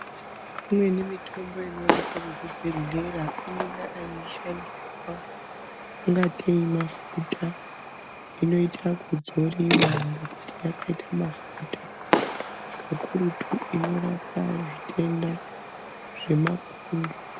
Imweni mitombo inoonekwa muzvibhedhlera inongadai yeishandiswa ungatei mafuta inoite ekudzoriwa ngekuite yakaite mafuta kakurutu inorape zvitenda zvemapundu.